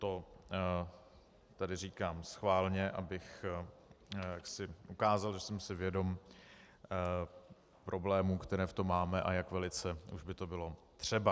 To tedy říkám schválně, abych ukázal, že jsem si vědom problémů, které v tom máme a jak velice už by to bylo třeba.